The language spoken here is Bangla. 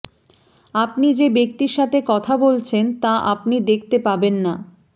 আপনি যে ব্যক্তির সাথে কথা বলছেন তা আপনি দেখতে পাবেন না